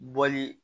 Bɔli